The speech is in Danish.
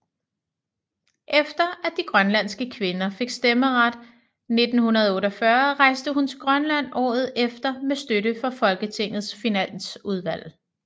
Efter at de grønlandske kvinder fik stemmeret 1948 rejste hun til Grønland året efter med støtte fra Folketingets finansudvalg